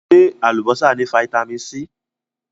Ṣé Alubọ́sá ni Vitamin C?